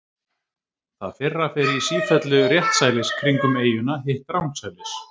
Það fyrra fer í sífellu réttsælis kringum eyjuna, hitt rangsælis.